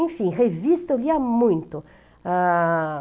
Enfim, revista eu lia muito. Ãh...